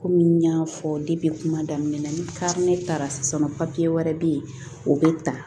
Komi n y'a fɔ kuma daminɛ na ni kari ne taara sisan nɔ wɛrɛ bɛ yen o bɛ ta